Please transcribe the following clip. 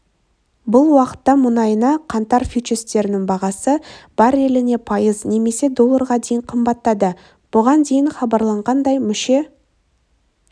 бұл уақытта мұнайына қаңтар фьючерстерінің бағасы барреліне пайыз немесе долларға дейін қымбаттады бұған дейін хабарланғандай мүше